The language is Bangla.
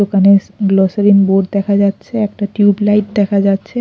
দোকানের গ্লোসারিন বোর্ড দেখা যাচ্ছে একটা টিউব লাইট দেখা যাচ্ছে।